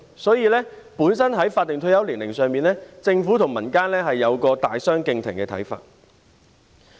所以，在法定退休年齡上，政府和民間有一個大相逕庭的看法。